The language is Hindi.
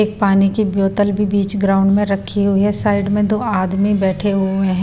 एक पानी की बोतल भी बीच ग्राउंड में रखी हुई है साइड में दो आदमी बैठे हुए हैं।